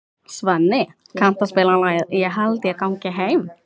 Svenni, kanntu að spila lagið „Ég held ég gangi heim“?